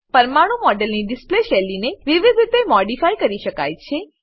પરમાણું મોડેલની ડિસ્પ્લે શૈલીને વિવિધ રીતે મોડીફાય કરી શકાય છે